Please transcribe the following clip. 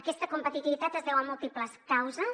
aquesta competitivitat es deu a múltiples causes